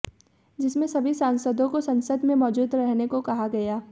जिसमें सभी सांसदों को संसद में मौजूद रहने को कहा गया